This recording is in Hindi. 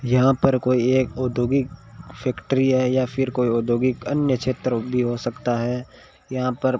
यहां पर कोई एक औद्योगिक फैक्ट्री है या फिर कोई औद्योगिक अन्य क्षेत्र भी हो सकता है यहां पर --